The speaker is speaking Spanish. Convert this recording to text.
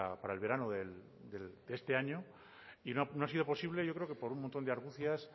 para el verano de este año y no ha sido posible yo creo que por un montón de argucias